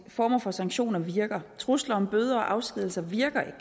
former for sanktioner virker trusler om bøder og afskedigelse virker ikke